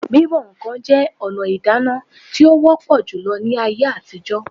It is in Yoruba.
Bíbọ̀ ǹkan jẹ́ ọ̀nà ìdáná tí ó wọ́pọ̀ júlọ ní ayé àtijọ́